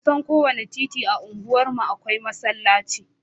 Kusan kowane titi a unguwarmu akwai masallaci